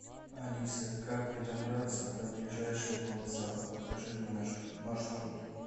алиса как мне добраться до ближайшего вокзала покажи мне маршрут